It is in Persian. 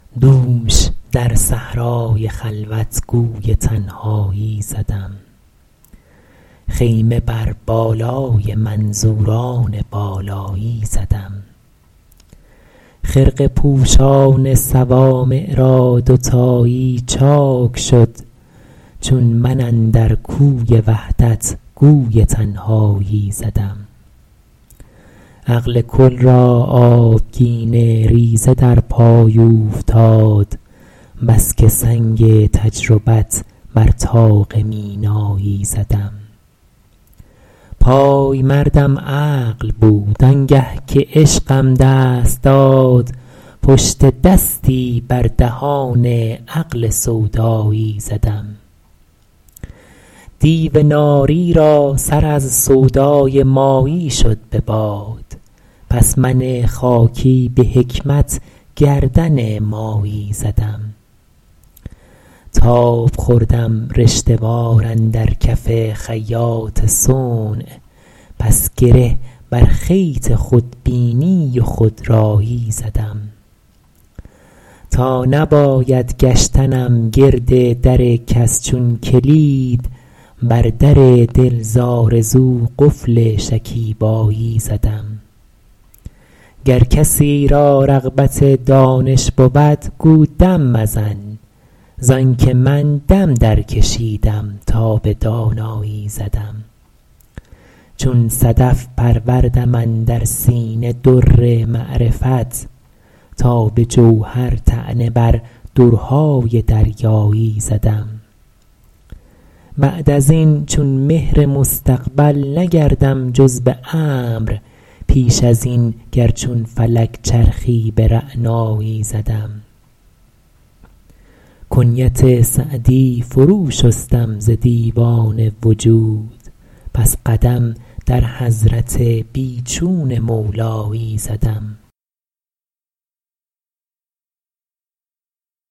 دوش در صحرای خلوت گوی تنهایی زدم خیمه بر بالای منظوران بالایی زدم خرقه پوشان صوامع را دوتایی چاک شد چون من اندر کوی وحدت گوی تنهایی زدم عقل کل را آبگینه ریزه در پای اوفتاد بس که سنگ تجربت بر طاق مینایی زدم پایمردم عقل بود آنگه که عشقم دست داد پشت دستی بر دهان عقل سودایی زدم دیو ناری را سر از سودای مایی شد به باد پس من خاکی به حکمت گردن مایی زدم تاب خوردم رشته وار اندر کف خیاط صنع پس گره بر خیط خودبینی و خودرایی زدم تا نباید گشتنم گرد در کس چون کلید بر در دل ز آرزو قفل شکیبایی زدم گر کسی را رغبت دانش بود گو دم مزن زآن که من دم درکشیدم تا به دانایی زدم چون صدف پروردم اندر سینه در معرفت تا به جوهر طعنه بر درهای دریایی زدم بعد از این چون مهر مستقبل نگردم جز به امر پیش از این گر چون فلک چرخی به رعنایی زدم کنیت سعدی فرو شستم ز دیوان وجود پس قدم در حضرت بی چون مولایی زدم